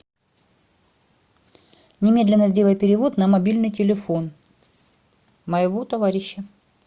немедленно сделай перевод на мобильный телефон моего товарища